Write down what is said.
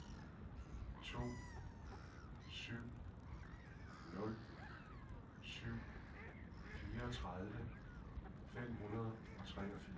to syv nul syv fireogtredive fem hundrede og treogfirs